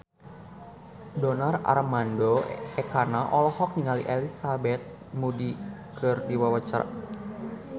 Donar Armando Ekana olohok ningali Elizabeth Moody keur diwawancara